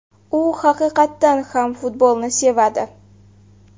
U haqiqatan ham futbolni sevadi.